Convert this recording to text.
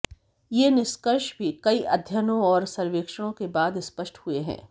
ये निष्कर्ष भी कई अध्ययनों और सर्वेक्षणों के बाद स्पष्ट हुए हैं